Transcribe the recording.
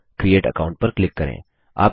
तो create account पर click करें